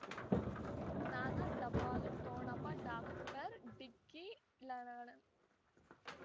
ಜ್ಞಾನ ಟಪಾಲು ಠೊಣಪ ಡಾಕ್ಟರ್ ಢಿಕ್ಕಿ ಳ ಳ ಣ